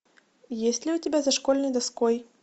есть ли у тебя за школьной доской